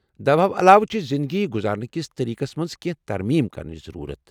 دوہو علاوٕ چھ زندگی گزارنہٕ كِس طریقس منز كینہہ ترمیم كرنٕچ ضرورت ۔